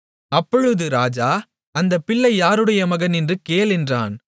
அப்பொழுது ராஜா அந்தப் பிள்ளை யாருடைய மகன் என்று கேள் என்றான்